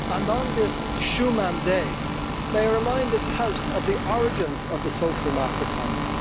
On this, Schuman Day, may I remind the House of the origins of the social market economy.